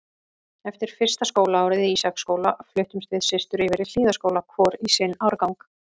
Eftir fyrsta skólaárið í Ísaksskóla fluttumst við systur yfir í Hlíðaskóla, hvor í sinn árgang.